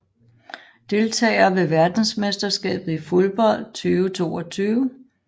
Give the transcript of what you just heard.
Deltagere ved verdensmesterskabet i fodbold 2022